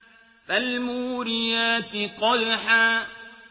فَالْمُورِيَاتِ قَدْحًا